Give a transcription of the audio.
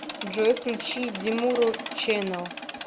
джой включи демуру чэнэл